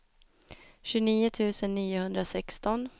tjugonio tusen niohundrasexton